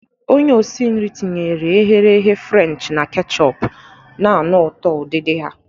Onye osi nri tinyere ehere ehe Frenchi na kechupu, na-anụ ụtọ udidi ha.